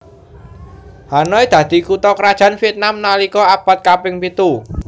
Hanoi dadi kutha krajan Vietnam nalika abad kaping pitu